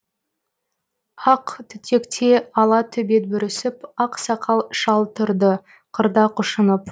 ақ түтекте ала төбет бүрісіп ақ сақал шал тұрды қырда құшынып